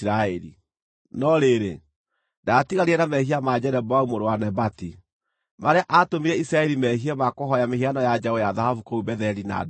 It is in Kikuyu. No rĩrĩ, ndaatiganire na mehia ma Jeroboamu mũrũ wa Nebati, marĩa aatũmire Isiraeli meehie ma kũhooya mĩhianano ya njaũ ya thahabu kũu Betheli na Dani.